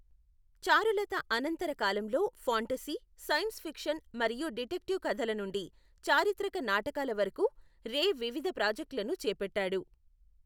చారులత అనంతర కాలంలో, fantasy, science fiction మరియు డిటెక్టివ్ కథల నుండి చారిత్రక నాటకాల వరకు రే వివిధ ప్రాజెక్టులను చేపట్టాడు.